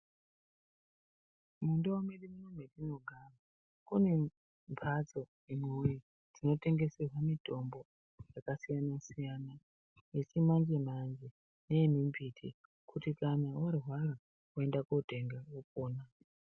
Mundau mwedu muno mwetinogara kune mphatso imwi woye dzinotengeserwa mutombo dzakasiyana siyana yechimanje manje neye mimbiti kuti kana worwara woenda kotenga wopona.